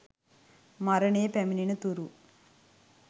මරණය පැමිණෙන තුරු